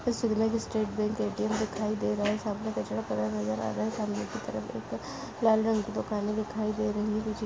में State Bank ATM दिखाई दे रहा है सामने कचरा पड़ा नजर आ रहा है सामने की तरफ एक लाल रंग की दुकानें दिखाई दे रही है।